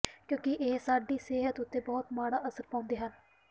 ਕਿਉਂਕਿ ਇਹ ਸਾਡੀ ਸਿਹਤ ਉਤੇ ਬਹੁਤ ਮਾੜਾ ਅਸਰ ਪਾਉਂਦੇ ਹਨ